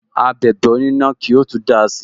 Abẹ̀bẹ̀ onina ki o tun dáa si